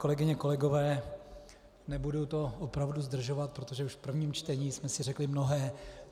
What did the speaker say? Kolegyně, kolegové, nebudu to opravdu zdržovat, protože už v prvním čtení jsme si řekli mnohé.